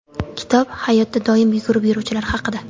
Kitob – hayotda doimo yugurib yuruvchilar haqida.